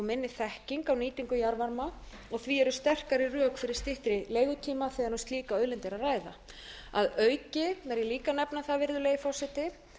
minni þekking e á nýtingu jarðvarma og því eru sterkari rök fyrir styttri leigutíma þegar um slíka auðlind er að ræða að auki verð ég líka að nefna það virðulegi forseti